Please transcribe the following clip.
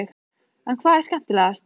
En hvað er skemmtilegast?